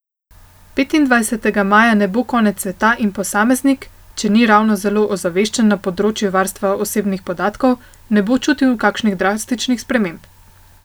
Petindvajsetega maja ne bo konec sveta in posameznik, če ni ravno zelo ozaveščen na področju varstva osebnih podatkov, ne bo čutil kakšnih drastičnih sprememb.